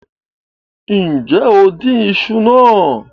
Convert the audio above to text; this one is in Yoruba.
Nje o din iṣu naa